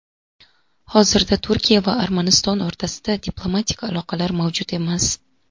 Hozirda Turkiya va Armaniston o‘rtasida diplomatik aloqalar mavjud emas.